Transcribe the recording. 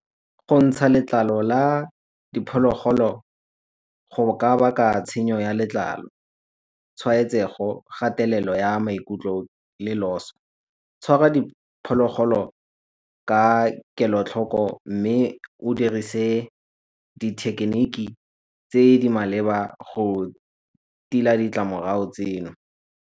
Go ntsha letlalo la diphologolo go ka baka tshenyo ya letlalo, tshwaetsego, kgatelelo ya maikutlo, le loso. Tshwara diphologolo ka kelotlhoko mme o dirise dithekiniki tse di maleba go tila ditlamorago tseno.